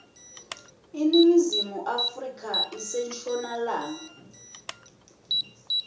iningizimu afrika ise nshonalanga